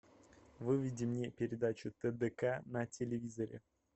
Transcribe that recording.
выведи мне передачу тдк на телевизоре